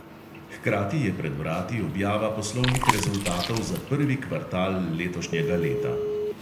Hkrati je pred vrati objava poslovnih rezultatov za prvi kvartal letošnjega leta.